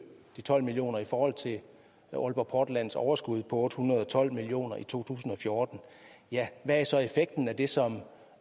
de tolv million kr i forhold til aalborg portlands overskud på otte hundrede og tolv million kroner i to tusind og fjorten hvad er så effekten af det som